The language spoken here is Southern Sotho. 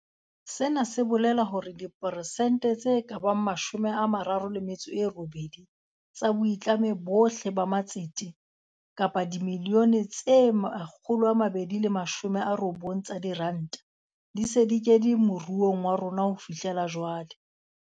Sena se bolela hore dipersente tse ka bang 38 tsa boitlamo bohle ba matsete - kapa dibilione tse 290 tsa diranta - di se di kene mo ruong wa rona ho fihlela jwale.